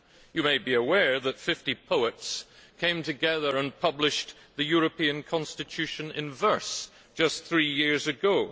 You may be aware that 50 poets came together and published the European constitution in verse just three years ago.